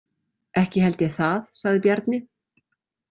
Ekki held ég það, sagði Bjarni.